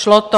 Šlo to.